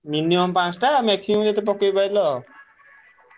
Minimum ପାଞ୍ଚଟା maximum ଯେତେ ପକେଇପାଇଲ।